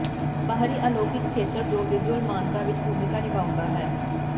ਬਾਹਰੀ ਅਲੌਕਿਕ ਖੇਤਰ ਜੋ ਵਿਜੁਅਲ ਮਾਨਤਾ ਵਿੱਚ ਭੂਮਿਕਾ ਨਿਭਾਉਂਦਾ ਹੈ